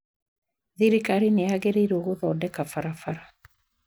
Thirikari nĩ yagĩrairwo gũthondeka barabara